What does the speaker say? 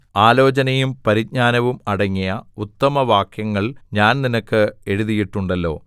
ആലോചനയും പരിജ്ഞാനവും അടങ്ങിയ ഉത്തമവാക്യങ്ങൾ ഞാൻ നിനക്ക് എഴുതിയിട്ടുണ്ടല്ലോ